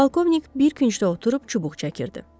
Pavkovnik bir küncdə oturub çubuq çəkirdi.